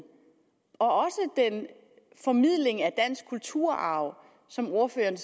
og formidlingen af dansk kulturarv som ordføreren